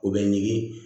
O bɛ ɲigin